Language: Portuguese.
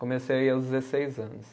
Comecei a ir aos dezesseis anos.